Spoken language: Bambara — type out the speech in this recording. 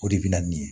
O de bɛ na ni